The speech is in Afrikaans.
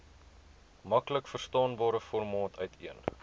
maklikverstaanbare formaat uiteen